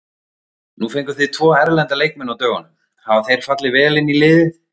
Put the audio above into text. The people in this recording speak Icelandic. Nú fenguð þið tvo erlenda leikmenn á dögunum, hafa þeir fallið vel inn í liðið?